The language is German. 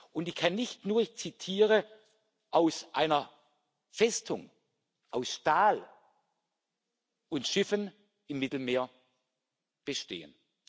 Und die kann nicht nur ich zitiere aus einer Festung aus Stahl und Schiffen im Mittelmeer bestehen.